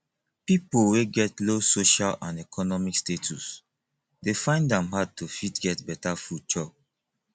pipo wey get low social and economic status dey find am hard to fit get better food chop